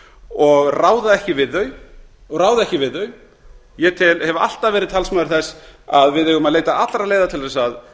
og ráða ekki við þau ég hef alltaf verið talsmaður þess að við eigum að leita allra leiða til þess að